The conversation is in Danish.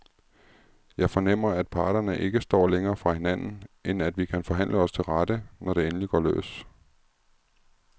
Jeg fornemmer, at parterne ikke står længere fra hinanden, end at vi kan forhandle os til rette, når det endelig går løs.